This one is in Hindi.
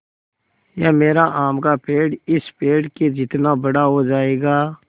या मेरा आम का पेड़ इस पेड़ के जितना बड़ा हो जायेगा